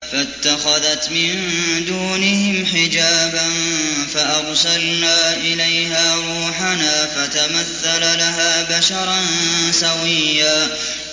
فَاتَّخَذَتْ مِن دُونِهِمْ حِجَابًا فَأَرْسَلْنَا إِلَيْهَا رُوحَنَا فَتَمَثَّلَ لَهَا بَشَرًا سَوِيًّا